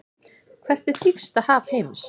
Hvert er dýpsta haf heims?